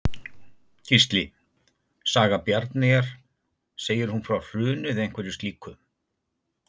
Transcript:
Gísli: Saga Bjarnareyjar, segir hún frá hruni eða einhverju slíku?